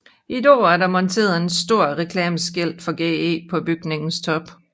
I dag er der monteret et stort reklameskilt for GE på bygningens top